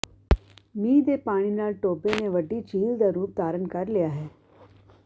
ਮੀਂਹ ਦੇ ਪਾਣੀ ਨਾਲ ਟੋਬੇ ਨੇ ਵੱਡੀ ਝੀਲ ਦਾ ਰੂਪ ਧਾਰਨ ਕਰ ਲਿਆ ਹੈ